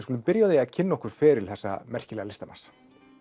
skulum byrja á því að kynna okkur feril þessa merkilega listamanns